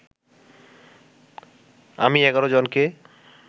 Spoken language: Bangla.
আমি ১১ জনকে